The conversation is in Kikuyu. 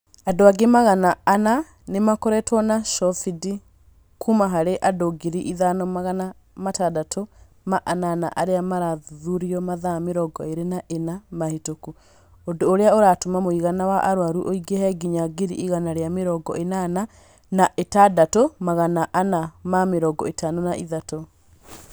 Andũ angĩ magana ana nĩ marakoretwo na cobindi, kuuma harĩ andũ ngiri thano magana atandatũ ma anana arĩa marathuthuririo mathaa mĩrongo ĩrĩ na ĩna mahĩtũku, ũndũ ũrĩa ũratũma mũigana wa arwaru ũingĩhe nginya ngiri igana ria mĩrongo ĩnana na ĩandatu magana ana ma mĩrongo ĩtano na ĩthatu.